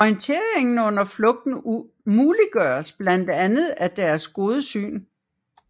Orienteringen under flugten muliggøres blandt andet af deres gode syn